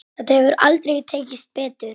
Þetta hefur aldrei tekist betur.